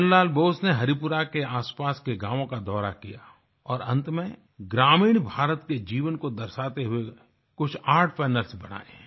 नन्द लाल बोस ने हरिपुरा के आसपास के गाँव का दौरा किया और अंत में ग्रामीण भारत के जीवन को दर्शाते हुए कुछ आर्ट कैनवास बनाये